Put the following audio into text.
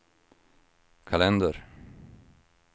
kalender